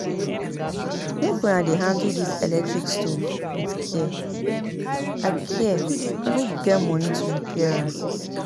Make una dey handle dis electric stove with care I care I no get money to repair am